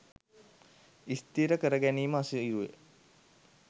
ස්ථීර කර ගැනීම අසීරුය.